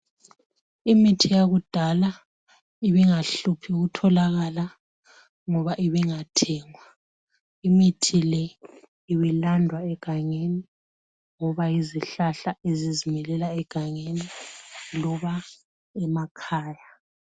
Imithi yakudala ibingahluphi ukutholakala ngoba ibingathengwa imithi le ibilandwa egangeni ngoba yizihlahla ezizimilela egangeni loba emakhaya.